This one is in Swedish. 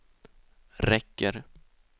räcker